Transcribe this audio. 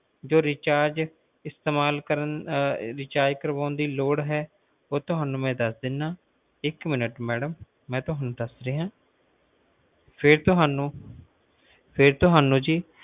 ਜੋ recharge ਇਸਤੇਮਾਲ ਕਰਨ recharge ਕਰਵਾਉਣ ਦੀ ਲੋੜ ਹੈ ਉਹ ਮਈ ਤੁਹਾਨੂੰ ਦੱਸ ਰਿਹਾ ਇੱਕ ਮਿੰਟ ਮੈਡਮ ਮਈ ਤੁਹਾਨੂੰ ਦੱਸ ਰਿਹਾ ਫੇਰ ਤੁਹਾਨੂੰ ਜੀ